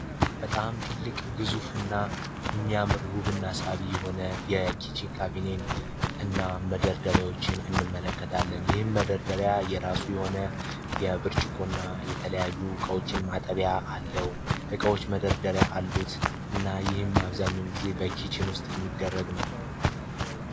በጣም ትልቅ ግዙፍና የሚያምር ውብና ሳብ የሆነ ካቢኔ እና መደርደሪያዎችን እንመለከታለን ነው። ይህ መረደሪያ የራሱ የሆነ የብርጭቆና የተለያዩ እቃዎችን ማጠቢያ አለው። እቃዎች መደርደሪያ አሉት እና ይህም አብዛኛውን ጊዜ ውስጥ የሚደረግ ነው።